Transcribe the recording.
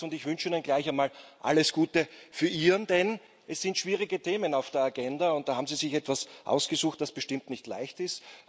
Ich wünsche Ihnen gleich einmal alles Gute für Ihren, denn es sind schwierige Themen auf der Agenda, und da haben Sie sich etwas ausgesucht, das bestimmt nicht leicht ist.